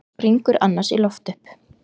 Springur annars í loft upp.